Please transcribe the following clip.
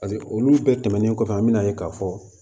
Paseke olu bɛɛ tɛmɛnen kɔfɛ an bɛna ye k'a fɔ